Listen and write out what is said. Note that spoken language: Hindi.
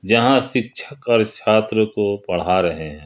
यहां शिक्षकगण छात्र को पढ़ा रहे हैं।